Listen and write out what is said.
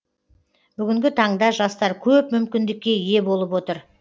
бүгінгі таңда жастар көп мүкіндікке ие болып отыр